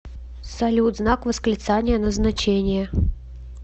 салют знак восклицания назначение